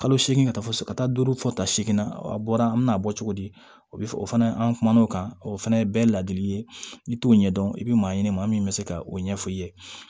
Kalo seegin ka taa fo ka taa duuru fɔ tan seegin na a bɔra an bena bɔ cogo di o bi o fana an kumana o kan o fɛnɛ ye bɛɛ ladili ye i t'o ɲɛdɔn i be maa ɲini maa min bɛ se ka o ɲɛfɔ i ye